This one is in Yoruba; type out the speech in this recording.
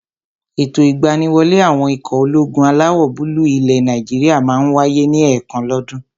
Ètò ìgbaniwọlé àwọn ikọ̀ ológun alawọ̀-búúlù ilẹ̀ Nàìjíríyà máa n wáyé ní ẹ̀ẹ̀kan lọ́ dún.